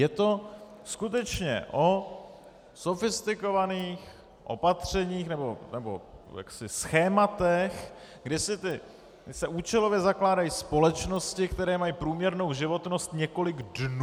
Je to skutečně o sofistikovaných opatřeních nebo schématech, kdy se účelově zakládají společnosti, které mají průměrnou životnost několik dnů.